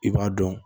I b'a dɔn